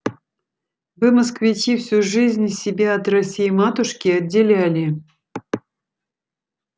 вы москвичи всю жизнь себя от россии-матушки отделяли